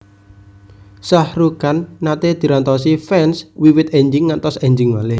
Shah Rukh Khan nate dirantosi fans wiwit enjing ngantos enjing malih